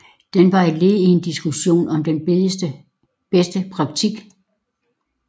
Den var et led i en diskussion om den bedste praktik